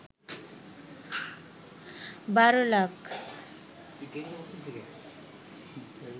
১২ lakh